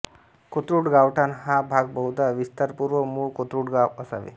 कोथरूड गावठाण हा भाग बहुधा विस्तारपूर्व मूळ कोथरूड गाव असावे